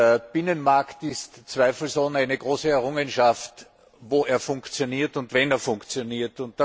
Der Binnenmarkt ist zweifelsohne eine große Errungenschaft, wo er funktioniert und wenn er funktioniert.